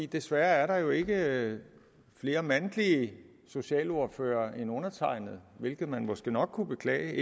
desværre ikke flere mandlige socialordførere end undertegnede hvilket man måske nok kunne beklage